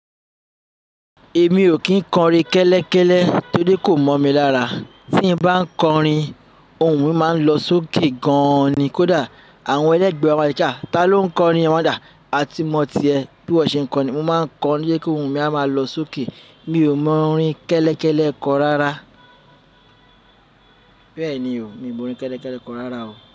Èmi ò kín kọrin kẹ́lẹ́kẹ́lẹ́ torí kò mọ̀ mi lára. Tí n bá ń kọrin, ohùn mi máa ń lọ sókè gan ni kódà àwọn ẹlẹ́gbẹ̀ẹ́ wa máa ń sọ pé ah. "Ta ló ń kọrin?" no wonder, "a ti mọ̀ ti ẹ", bí ìwọ ṣe ń kọrin. Mo máa ń kọrin tó jẹ́ pé ohùn mi a ma lọ sókè. Mi ò mọ orin kẹ́lẹ́kẹ́lẹ́ kọ rárá. Bẹ́ẹ̀ni o, mi ò mọ rin kẹ́lẹ́kẹ́lẹ́ kọ rárá o.